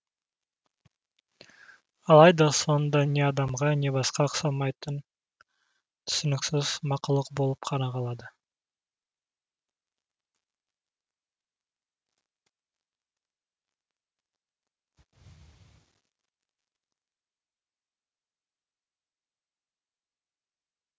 алайда соңында не адамға не басқаға ұқсамайтын түсініксіз мақұлық болып қана қалды